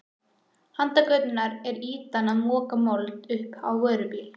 Handan götunnar er ýtan að moka mold upp á vörubíl.